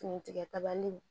Fini tigɛta nin